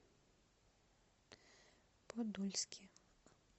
подольске